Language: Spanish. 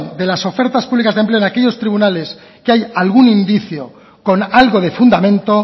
de las ofertas pública de empleo en aquellos tribunales que hay algún indicio con algo de fundamento